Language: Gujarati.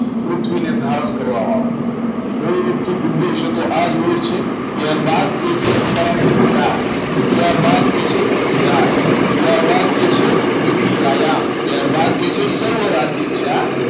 પૃથ્વીને ધારણ કરવા વાળો બહુરૂપ થી ઉપદેશ આ હોય છે ત્યારબાદ કહે છે પરમ ત્યારબાદ કહે છે કવિરાજ ત્યારબાદ કહે છે પૃથ્વી આયામ ત્યારબાદ કહે છે સરોવર રાજ્યજા